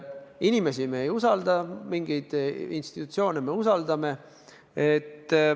Inimesi me ei usalda, mingeid institutsioone usaldame.